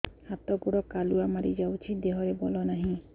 ହାତ ଗୋଡ଼ କାଲୁଆ ମାରି ଯାଉଛି ଦେହରେ ବଳ ନାହିଁ